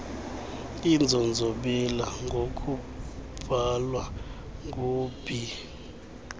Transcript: inzonzobila ngokubhalwa ngub